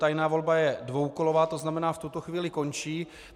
Tajná volba je dvoukolová, to znamená, v tuto chvíli končí.